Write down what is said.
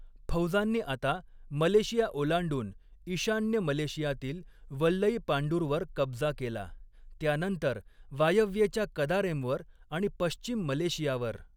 फौजांनी आता मलेशिया ओलांडून ईशान्य मलेशियातील वल्लईपांडुरवर कब्जा केला, त्यानंतर वायव्येच्या कदारेमवर आणि पश्चिम मलेशियावर.